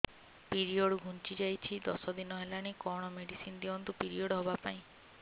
period ଘୁଞ୍ଚି ଯାଇଛି ଦଶ ଦିନ ହେଲାଣି କଅଣ ମେଡିସିନ ଦିଅନ୍ତୁ ପିରିଅଡ଼ ହଵା ପାଈଁ